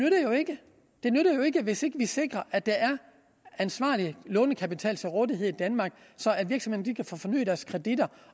jo ikke hvis ikke vi sikrer at der er ansvarlig lånekapital til rådighed i danmark så virksomhederne kan få fornyet deres kreditter